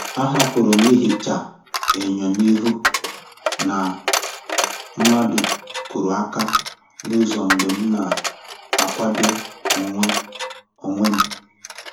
Ahapụrụ m ihicha enyo n’ihi na mmadụ kuru aka n'ụzọ mgbe m na-akwado onwe onwe m.